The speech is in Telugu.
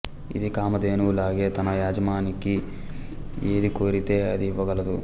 ఇది కామధేనువులాగే తన యజమానికి ఏది కోరితే అది ఇవ్వగలదు